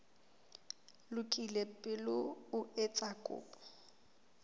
lokile pele o etsa kopo